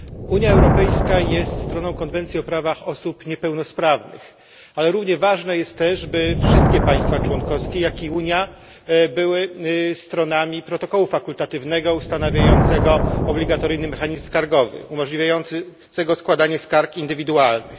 Unia Europejska jest stroną Konwencji o prawach osób niepełnosprawnych, ale równie ważne jest też, by wszystkie państwa członkowskie, jak i Unia były stronami protokołu fakultatywnego ustanawiającego obligatoryjny mechanizm skargowy, umożliwiającego składanie skarg indywidualnych.